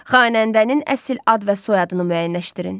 Xanəndənin əsil ad və soyadını müəyyənləşdirin.